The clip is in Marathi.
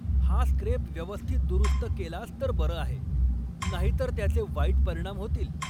हा स्क्रेप व्यवस्थित दुरुस्त केलास तर बरं आहे, नाहीतर त्याचे वाईट परिणाम होतील!